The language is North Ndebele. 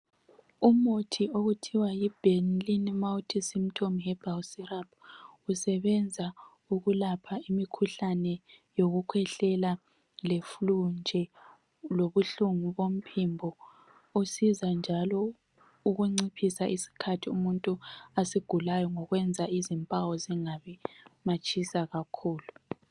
Umuthi okuthuwa yi benylin multi symptom herbal syrup usebenza ukulapha imikhuhlane yokukhwehleka le flue nje lobuhlungu bomphimbo usiza njalo ukunciphisa isikhathi umuntu asigulayo ngokwenza izimpawu zingabi matshisa kakhulu.